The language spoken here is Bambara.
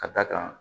Ka d'a kan